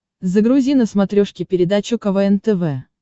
загрузи на смотрешке передачу квн тв